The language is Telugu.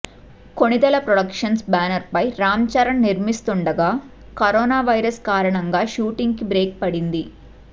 కొణిదెల ప్రొడక్షన్స్ బ్యానర్పై రామ్ చరణ్ నిర్మిస్తుండగా కరోనా వైరస్ కారణంగా షూటింగ్కి బ్రేక్ పడింది